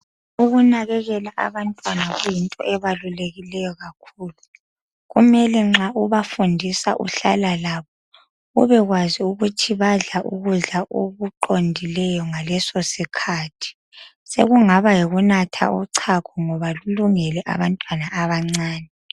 Ukunakekela abantwana kuyinto ebalulekileyo kakhulu, kumele nxa ubafundisa uhlala labo ubekwazi ukuthi badla ukudla okuqondileyo ngaleso sikhathi, sekungaba yikunatha uchago ngoba lulengele abantwana abancane